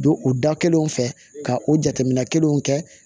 Don u da kelen fɛ ka o jateminɛ kelenw kɛ